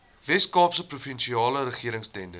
weskaapse provinsiale regeringstenders